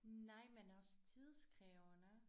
Nej men også tidskrævende